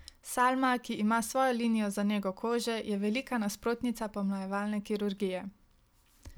Salma, ki ima svojo linijo za nego kože, je velika nasprotnica pomlajevalne kirurgije.